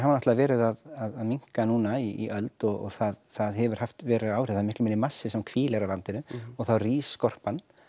náttúrulega verið að minnka núna í öld og það það hefur haft veruleg áhrif það er miklu minni massi sem hvílir á landinu og þá rís skorpan